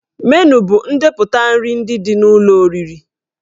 Menu bụ ndepụta nri ndị dị n'ụlọ oriri